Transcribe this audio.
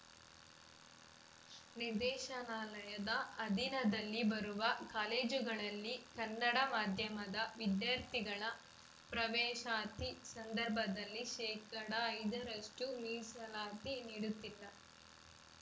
ನಿರ್ದೇಶನಾಲಯದ ಅಧಿನದಲ್ಲಿ ಬರುವ ಕಾಲೇಜುಗಳಲ್ಲಿ ಕನ್ನಡ ಮಾಧ್ಯಮದ ವಿದ್ಯಾರ್ಥಿಗಳ ಪ್ರವೇಶಾತಿ ಸಂದರ್ಭದಲ್ಲಿ ಶೇಕಡಾ ಐದರಷ್ಟುಮೀಸಲಾತಿ ನೀಡುತ್ತಿಲ್ಲ